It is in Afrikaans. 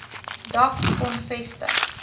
dak kon vestig